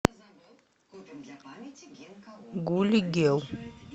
гули гел